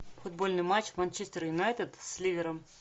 футбольный матч манчестер юнайтед с ливером